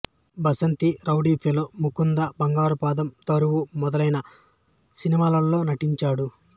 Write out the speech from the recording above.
Basanti rowdy fellow Mukunda Bangaru Padam Daruvu మొదలైన సినిమాలలో నటించాడు